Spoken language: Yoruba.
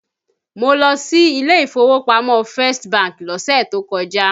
Mo lọ sí ilé ìfowópamọ́ First bank lọ́sẹ̀ tó kọjá